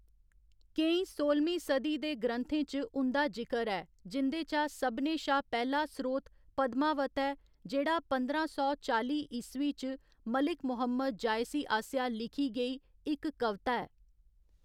केईं सोह्‌लमीं सदी दे ग्रंथें च उं'दा जिकर ऐ, जिं'दे चा सभनें शा पैह्‌‌ला स्रोत पद्मावत ऐ, जेह्‌‌ड़ा पंदरां सौ चाली ईस्वी च मलिक मुहम्मद जायसी आसेआ लिखी गेई इक कविता ऐ।